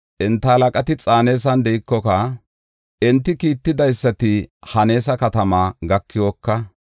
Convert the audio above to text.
Enta halaqati Xaanesan de7ikoka, enti kiittidaysati Haneesa katamaa gakikoka,